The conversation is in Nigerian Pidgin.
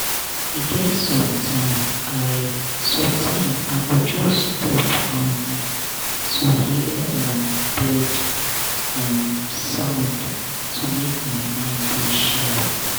e get sometime i sometime i go just stop um to hear um bird um sound to make my mind dey sharp.